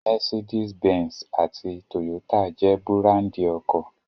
Mercedes Benz àti Toyota jẹ́ búráńdì ọkọ̀.